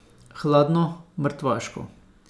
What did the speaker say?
Hladno, mrtvaško.